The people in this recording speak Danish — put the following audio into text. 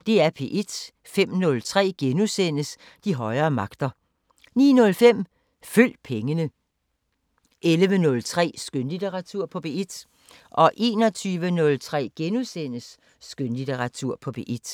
05:03: De højere magter * 09:05: Følg pengene 11:03: Skønlitteratur på P1 21:03: Skønlitteratur på P1 *